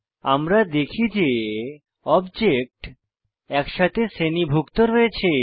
আমরা দেখি যে অবজেক্ট একসাথে শ্রেণীভুক্ত রয়েছে